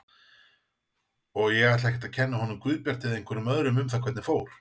Og ég ætla ekkert að kenna honum Guðbjarti eða einhverjum öðrum um það hvernig fór.